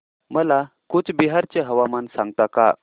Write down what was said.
मला कूचबिहार चे हवामान सांगता का